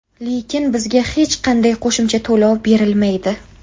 Lekin bizga hech qanday qo‘shimcha to‘lov berilmaydi.